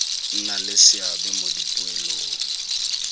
nna le seabe mo dipoelong